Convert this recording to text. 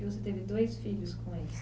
E você teve dois filhos com ele?